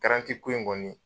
ko in kɔni